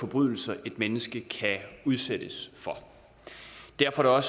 forbrydelser et menneske kan udsættes for derfor var